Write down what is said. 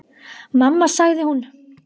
Mamma sagði hún.